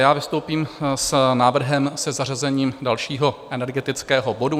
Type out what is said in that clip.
Já vystoupím s návrhem se zařazením dalšího energetického bodu.